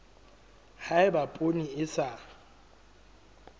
ha eba poone e sa